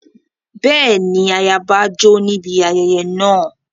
Bẹ́ẹ̀ni, ayaba jó níbi ayẹyẹ náà.